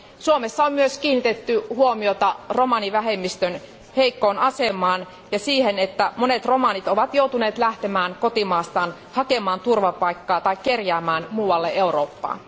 Suomessa on myös kiinnitetty huomiota romanivähemmistön heikkoon asemaan ja siihen, että monet romanit ovat joutuneet lähtemään kotimaastaan hakemaan turvapaikkaa tai kerjäämään muualle Eurooppaan.